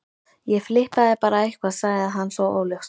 Ég flippaði bara eitthvað sagði hann svo óljóst.